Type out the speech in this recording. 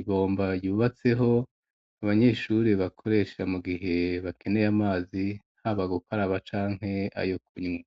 ibomba ryubatseho, abanyeshure bakoresha mu gihe bakeneye amazi, haba gukaraba canke ayo kunywa.